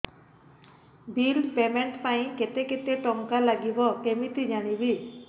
bill payment ପାଇଁ କେତେ କେତେ ଟଙ୍କା ଲାଗିବ କେମିତି ଜାଣିବି